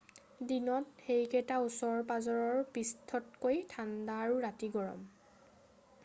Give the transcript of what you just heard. দিনত সেইকেইটা ওচৰ-পাজৰৰ পৃষ্ঠতকৈ ঠাণ্ডা আৰু ৰাতি গৰম।